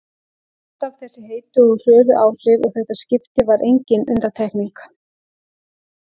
Alltaf þessi heitu og hröðu áhrif og þetta skipti var engin undantekning.